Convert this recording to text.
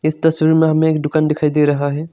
तस्वीर में हमें एक दुकान दिखाई दे रहा है।